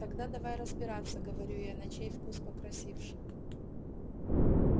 тогда давай разбираться говорю я на чей вкус покрасивше